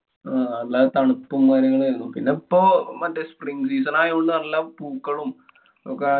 ആഹ് നല്ല തണുപ്പും കാര്യങ്ങളും ആയിരുന്നു. പിന്നെ ഇപ്പോ മറ്റേ spring season ആയോണ്ട് നല്ല പൂക്കളും ഒക്കെ